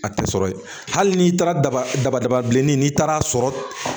A tɛ sɔrɔ yen hali n'i taara daba daba bilenni n'i taara sɔrɔ